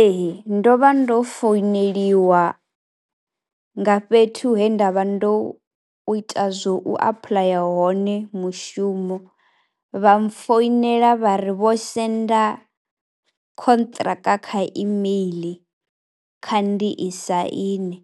Ee ndo vha ndo founeliwa nga fhethu he nda vha ndo ita zwo u apuḽaya hone mushumo, vha mpfhoinela vha ri vho senda khontraka kha email, kha ndi i saine,